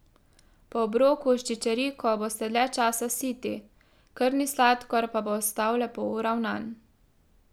Po obroku s čičeriko boste dalj časa siti, krvni sladkor pa bo ostal lepo uravnan.